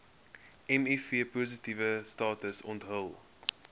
mivpositiewe status onthul